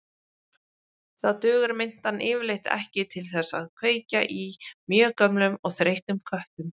Þá dugar mintan yfirleitt ekki til þess að kveikja í mjög gömlum og þreyttum köttum.